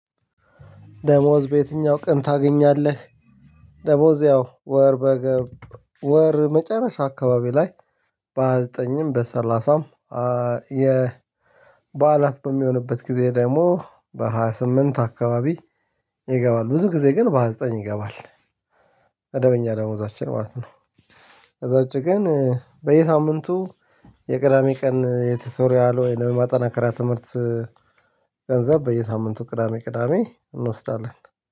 ደሞዝ በየትኛው ቀን ታገኛለህ? ደሞዝ ያው ወር በገባ ወር መጨረሻ አካባቢ ላይ በሃያ ዘጠኝም በሰላሳም የ በዓላት በሚሆንበት ጊዜ ደግሞ በሃያ ስምንት አካባቢ ይገባል። ብዙ ጊዜ ግን በሃያ ዘጠኝ ይገባል። መደበኛ ደሞዛችን ማለት ነው። ከዛ ውጭ ግን በየሳምንቱ የቅዳሜ ቀን የቲቶሪያል ወይም ማጠናከራ ትምህርት ገንዘብ በየሳምንቱ ቅዳሜ ቅዳሜ እንወስዳለን።